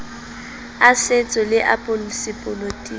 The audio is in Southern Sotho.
a setso le a sepolotiki